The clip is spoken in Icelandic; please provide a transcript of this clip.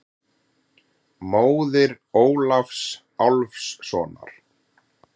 Móðir Ólafs Álfssonar.